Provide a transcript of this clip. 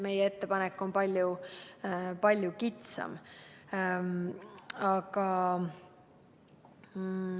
Meie ettepanek on palju kitsam.